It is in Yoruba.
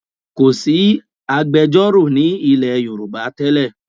Kòsí iṣẹ́ agbẹjọ́rò ní ilẹ̀ Yorùbá tẹ́lẹ̀